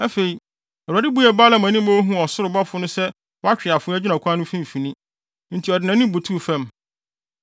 Afei, Awurade buee Balaam ani ma ohuu ɔsoro bɔfo no sɛ watwe afoa gyina ɔkwan no mfimfini. Enti ɔde nʼanim butuw fam.